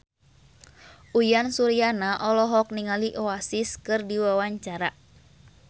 Uyan Suryana olohok ningali Oasis keur diwawancara